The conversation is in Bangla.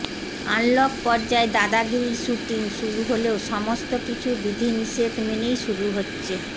আনলক পর্যায়ে দাদাগিরির শুটিং শুরু হলেও সমস্ত কিছু বিধিনিষেধ মেনেই শুরু হচ্ছে